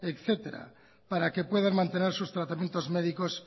etcétera para que puedan mantener sus tratamientos médicos